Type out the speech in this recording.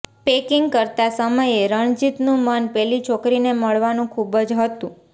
packing કરતાં સમયે રણજીતનું મન પેલી છોકરીને મળવાનું ખૂબ જ હતું